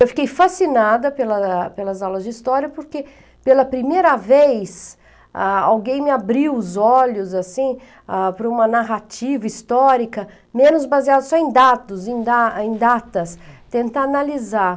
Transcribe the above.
Eu fiquei fascinada pela pelas aulas de história porque, pela primeira vez, ah alguém me abriu os olhos, assim, ah para uma narrativa histórica, menos baseada só em dados, em da em datas, tentar analisar